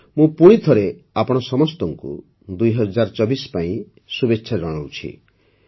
ମୁଁ ପୁଣି ଥରେ ଆପଣ ସମସ୍ତଙ୍କୁ ୨୦୨୪ ପାଇଁ ଶୁଭେଚ୍ଛା ଜଣାଉଛି